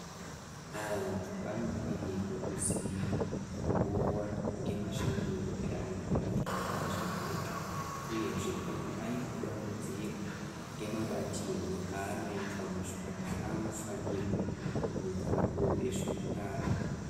Antu anofanirwe kuziya nguva ngemashandire avantu muzvipatara zvepedyo, uyezve kana aine dambudziko ngemabatirwe anoitwa muzvipatara anofanirwe kuudza akuru ezveutano.